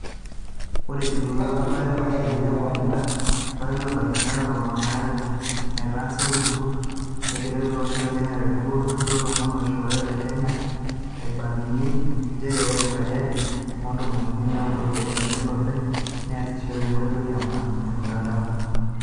Ore ejuroro erubata e o machinini e kompuyuta tolari loonkalifuni are o tomon oile nataasa olturur legelari olosho le Kenya o tenebo olturur loolomon lolosho le Kenya eibalunye njere ore esajati o ntomon unii o naudo o biasharani o lopeny nesishore enkoitoi e mutandao.